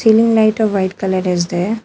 Ceiling light white colour is there.